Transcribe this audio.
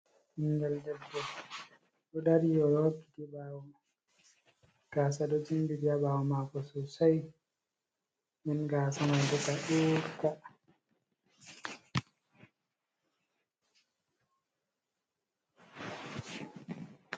Ɓingeel ɗebbo ɗo dari oɗo wayliti bawo mako gaasa ɗo jinbitiri ha ɓawo mako sosai, Ɗum gaasa man ka ɗukko.